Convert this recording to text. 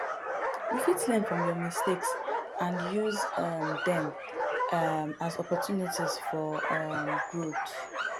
you fit learn from your mistakes and use um dem um as opportunities for um growth